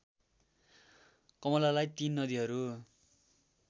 कमलामाई तीन नदीहरू